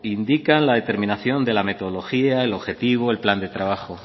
indican la determinación de la metodología el objetivo el plan de trabajo